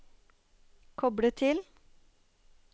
koble til